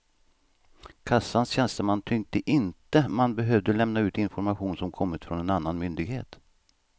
Kassans tjänsteman tyckte inte man behövde lämna ut information som kommit från en annan myndighet.